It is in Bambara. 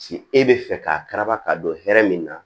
Ci e be fɛ k'a kara ka don hɛrɛ min na